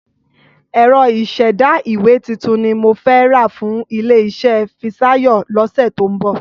Ẹ̀rọ ìṣẹ̀dá ìwé titun ni mo fẹ́ rà fún ilé-iṣẹ́ Fisáyọ̀ lọ́sẹ̀ tó ń bọ̀.